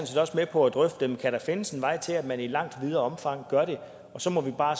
set også med på at drøfte om der kan findes en vej til at man i langt videre omfang gør det og så må vi bare